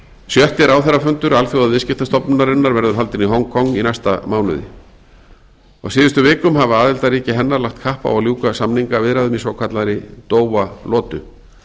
sjötti ráðherrafundur alþjóðaviðskiptastofnunarinnar verður haldinn í hong kong í næsta mánuði á síðustu vikum hafa aðildarríki hennar lagt kapp á að ljúka samningaviðræðum í svokallaðri doha lotu